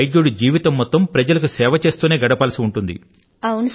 ఒక డాక్టర్ యొక్క జీవనం ప్రజల సేవలోనే గడపవలసి ఉంటుంది